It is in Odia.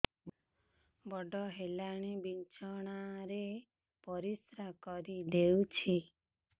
ବଡ଼ ହେଲାଣି ବିଛଣା ରେ ପରିସ୍ରା କରିଦେଉଛି